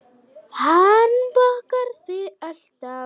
Hann bakar þig alltaf.